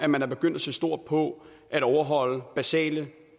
man er begyndt at se stort på at overholde basale